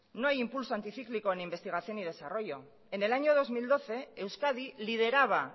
no hay impulso anticíclico en investigación y desarrollo en el año dos mil doce euskadi lideraba